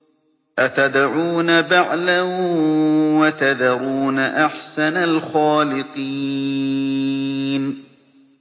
أَتَدْعُونَ بَعْلًا وَتَذَرُونَ أَحْسَنَ الْخَالِقِينَ